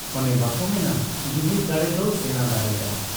ᱚᱱᱮ ᱵᱟᱠᱚ ᱢᱮᱱᱟ ᱡᱩᱱᱤᱫᱽ ᱫᱟᱲᱮ ᱫᱚ ᱥᱮᱬᱟ ᱫᱟᱲᱮ ᱠᱟᱱᱟ ᱾